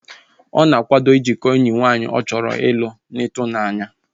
Ọ na-akwado ijikọọ enyi nwaanyị ọ chọrọ ịlụ n'atụanya